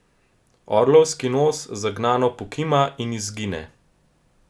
Orlovski nos zagnano pokima in izgine.